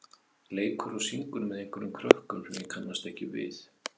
leikur og syngur með einhverjum krökkum sem ég kannast ekki við.